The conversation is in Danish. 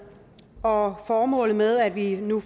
og formålet med at vi nu